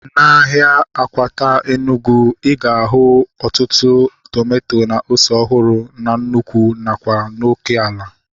Na ahịa Akwata Enugwu, ịga ahu ọtụtụ tomato na ose ọhụrụ na nnụkwụ nakwa n'oké ala